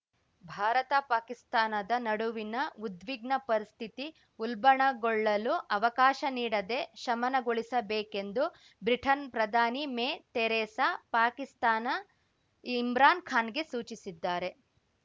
ಭಾರತ ಪಾಕಿಸ್ತಾನದ ನಡುವಿನ ಉದ್ವಿಗ್ನ ಪರಿಸ್ಥಿತಿ ಉಲ್ಬಣಗೊಳ್ಳಲು ಅವಕಾಶ ನೀಡದೆ ಶಮನಗೊಳಿಸಬೇಕೆಂದು ಬ್ರಿಟನ್ ಪ್ರಧಾನಿ ಮೇ ತೆರೇಸಾ ಪಾಕಿಸ್ತಾನ ಇಮ್ರಾನ್ ಖಾನ್‌ಗೆ ಸೂಚಿಸಿದ್ದಾರೆ